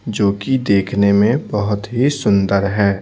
जो कि देखने में बहुत ही सुंदर है।